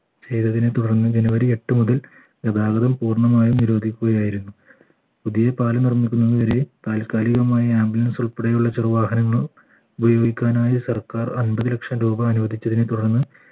ചെയ്തതിനെ തുടർന്നും january എട്ടുമുതൽ ഗതാഗതം പൂർണമായും നിരോധിക്കുകയായിരുന്നു പുതിയപാലം നിർമ്മിക്കുന്നവരെ താൽക്കാലികമായ ambulance ഉൾപ്പെടെയുള്ള ചെറു വാഹനങ്ങൾ ഉപയോഗിക്കാനായി സർക്കാർ അയ്ബത് ലക്ഷം രൂപ അനുവദിച്ചതിന് തുടർന്ന്